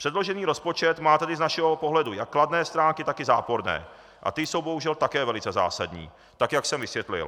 Předložený rozpočet má tedy z našeho pohledu jak kladné stránky, tak i záporné a ty jsou bohužel také velice zásadní, tak jak jsem vysvětlil.